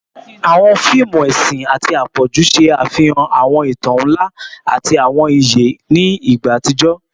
Awọn fiimu ẹsin ati apọju ṣe afihan awọn itan nla ati awọn iye ni igba atijọ